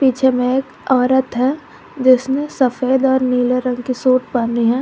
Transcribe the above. पीछे में एक औरत है जिसमें सफेद और नीले रंग की सूट पहनी है।